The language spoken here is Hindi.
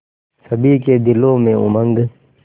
सभी के दिलों में उमंग